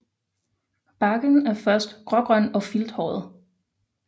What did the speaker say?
Barken er først grågrøn og filthåret